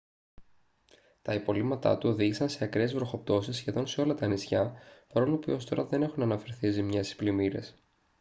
τα υπολείμματά του οδήγησαν σε ακραίες βροχοπτώσεις σχεδόν σε όλα τα νησιά παρόλο που έως τώρα δεν έχουν αναφερθεί ζημιές ή πλημμύρες